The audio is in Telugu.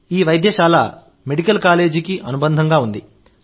ఈ వైద్యశాల మెడికల్ కాలేజీకి అనుబంధంగా ఉంది